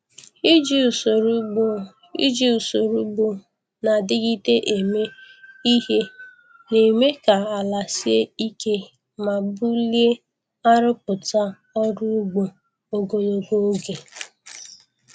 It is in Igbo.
Iji usoro ugbo Iji usoro ugbo na-adigide eme ihe na-eme ka ala sie ike ma bulie arụpụta ọrụ ugbo ogologo oge.